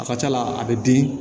A ka c'a la a bɛ bin